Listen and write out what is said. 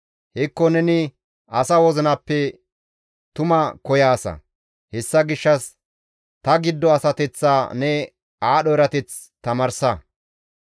Hekko neni asa wozinappe tuma koyaasa; hessa gishshas ta giddo asateththaa ne aadho erateth tamaarsa.